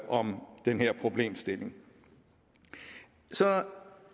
om den her problemstilling så